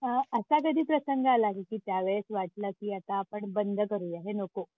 अ असा कधी प्रसंग आला की त्या वेळेस वाटलं की आता आपण बंद करूया. हे नको.